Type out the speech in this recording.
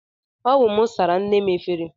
Ọ wụ mụ sara nne m efere.